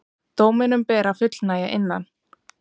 Dóminum ber að fullnægja innan